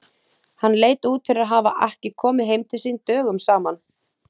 Hann leit út fyrir að hafa ekki komið heim til sín dögum saman.